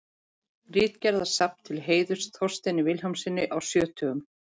Ritgerðasafn til heiðurs Þorsteini Vilhjálmssyni sjötugum.